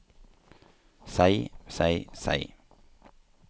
seg seg seg